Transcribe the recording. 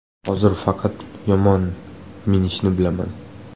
Hozir faqat yomon minishni bilaman.